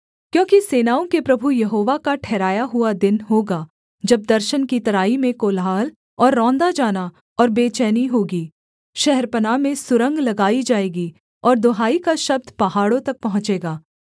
क्योंकि सेनाओं के प्रभु यहोवा का ठहराया हुआ दिन होगा जब दर्शन की तराई में कोलाहल और रौंदा जाना और बेचैनी होगी शहरपनाह में सुरंग लगाई जाएगी और दुहाई का शब्द पहाड़ों तक पहुँचेगा